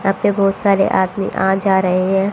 या पे बहोत सारे आदमी आ जा रहे हैं।